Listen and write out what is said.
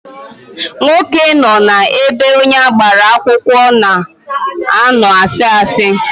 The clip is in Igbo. Nwoke nọ na ebe onye agbara akwụkwọ na-ano na asị asị